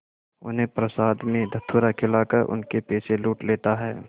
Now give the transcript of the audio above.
उन्हें प्रसाद में धतूरा खिलाकर उनके पैसे लूट लेता है